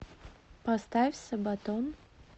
поставь сабатон